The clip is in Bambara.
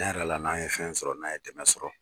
Cɛn yɛrɛ la n'a ye fɛn sɔrɔ n'an ye dɛmɛ sɔrɔ